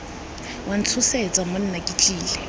wa ntshosetsa monna ke tlile